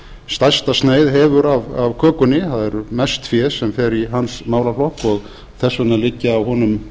stærsta sneið hefur af kökunni það er mest fé sem fer í hans málaflokk og þess vegna liggja á honum